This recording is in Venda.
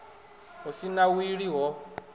hu si na wili ho